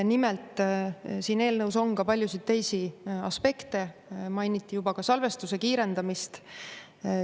Nimelt siin eelnõus on ka paljusid teisi aspekte, mainiti juba salvestuse kiirendamist.